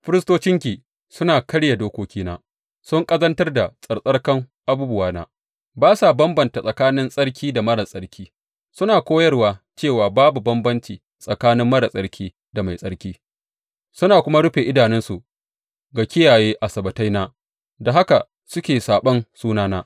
Firistocinki suna karya dokokina, sun ƙazantar da tsarkakan abubuwana; ba sa bambanta tsakanin tsarki da marar tsarki; suna koyarwa cewa babu bambanci tsakanin marar tsarki da mai tsarki; suna kuma rufe idanunsu ga kiyaye Asabbataina, da haka suke saɓon sunana.